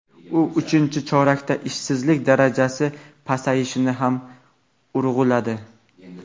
u uchinchi chorakda ishsizlik darajasi pasayishini ham urg‘uladi.